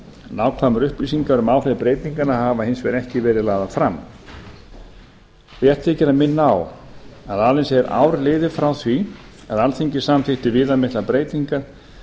nákvæmar upplýsingar um áhrif breytinganna hafa hins vegar ekki verið lagðar fram rétt þykir að minna á að aðeins er ár liðið frá því að alþingi samþykkti viðamiklar breytingar